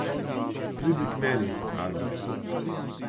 Pridi k meni, Albert!